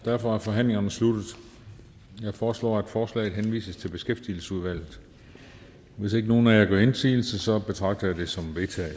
og derfor er forhandlingerne sluttet jeg foreslår at forslaget henvises til beskæftigelsesudvalget hvis ikke nogen af jer gør indsigelse betragter jeg det som